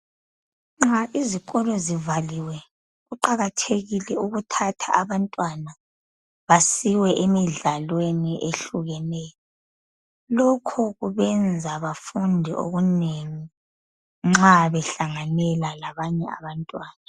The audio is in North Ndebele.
Nxa izikolo zivaliwe kuqakathekile ukuthatha abantwana basiwe emidlalweni ehlukeneyo lokho kubenza bafunde okunengi nxa behlanganela labanye abantwana